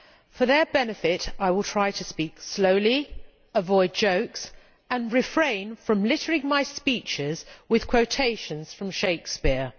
For their benefit, I will try to speak slowly, avoid jokes and refrain from littering my speeches with quotations from Shakespeare!